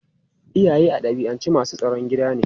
Iyaye a dabi'ance masu tsaron gida ne.